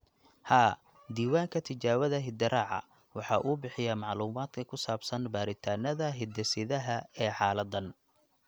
Haa, Diiwaanka Tijaabada Hidde-raaca (GTR) waxa uu bixiyaa macluumaadka ku saabsan baadhitaannada hidde-sidaha ee xaaladdan.